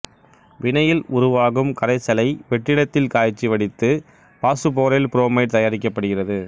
வினையில் உருவாகும் கரைசலை வெற்றிடத்தில் காய்ச்சி வடித்து பாசுபோரைல் புரோமைடு தயாரிக்கப்படுகிறது